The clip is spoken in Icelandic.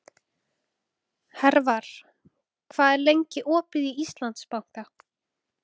Hervar, hvað er lengi opið í Íslandsbanka?